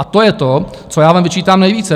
A to je to, co já vám vyčítám nejvíce.